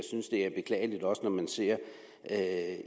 ser at